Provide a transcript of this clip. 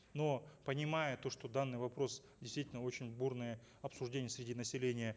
но понимая то что данный вопрос действительно очень бурные обсуждения среди населения